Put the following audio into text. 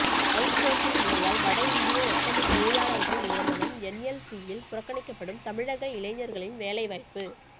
out sourcing முறையால் வட இந்திய ஒப்பந்த தொழிலாளர்கள் நியமனம் என்எல்சியில் புறக்கணிக்கப்படும் தமிழக இளைஞர்களின் வேலை வாய்ப்பு